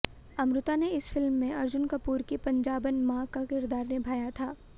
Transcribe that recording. अमृता ने इस फिल्म में अर्जुन कपूर की पंजाबन माँ का किरदार निभाया था